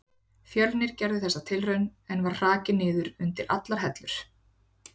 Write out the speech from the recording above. Fjölnir gerði þessa tilraun, en var hrakinn niður undir allar hellur.